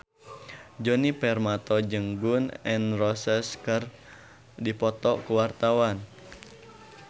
Djoni Permato jeung Gun N Roses keur dipoto ku wartawan